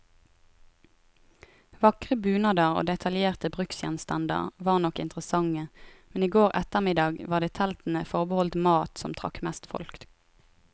Vakre bunader og detaljerte bruksgjenstander var nok interessante, men i går ettermiddag var det teltene forbeholdt mat, som trakk mest folk.